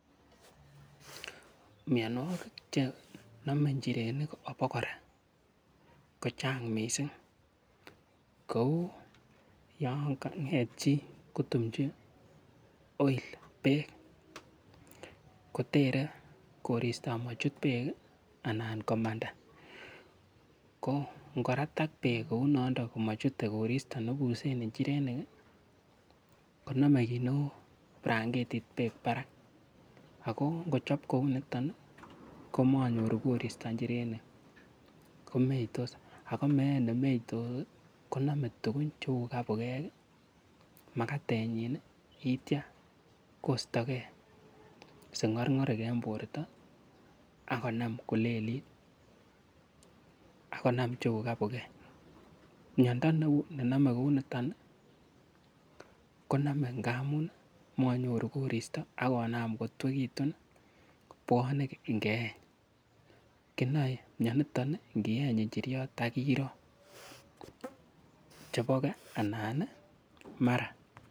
Mianwogik chenome njairenik abokora kochang missing kou yongang'et chi kotumchi oil beek kotere koristo amochut beek ii anan komandaa koo ngpratak beek kou noondon amochute koristo nebusen njirenik ii konome kit neu brangetit beek barak akoo ngochob kou niton nii komonyoru koristo njirenik komeitos akoo meet nemeitos konome tugun cheu kabukek makatenyin yeitya koistogee sing'orng'orik en borto akonaam kolelit akonam cheu kabukek miando ne nome kou niton ii konome ngamu monyor koristo akonam kotuekitun bwonek ngeeny ,kinoe mianiton ii ngeeny njiriot akorok chebo kee ana ii mara.